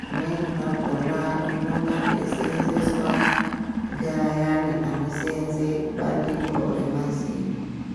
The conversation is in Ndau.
Zvimweni zvakhona zvinonga zveiseenzeswa, ngeayani anoseenze kubandiko remazino.